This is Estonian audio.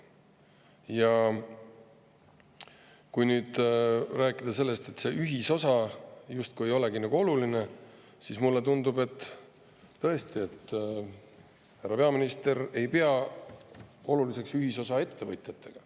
Ja kui nüüd rääkida sellest, et see ühisosa justkui ei olegi oluline, siis mulle tundub, et tõesti, härra peaminister ei pea oluliseks ühisosa ettevõtjatega.